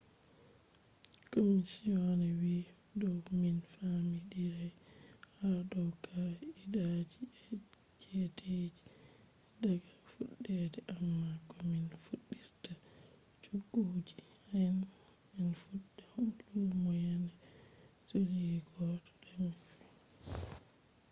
commisioner wiiyo dow min famidirai ha dow kaa’idaaji e chedeji daga fuddede amma komin fuddirta chogguji hean en fudda lumo yaande july 1 2020